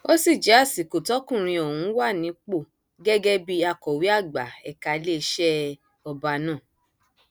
ó sì jẹ àsìkò tọkùnrin ọhún wà nípò gẹgẹ bíi akọwé àgbà ẹka iléeṣẹ ọba náà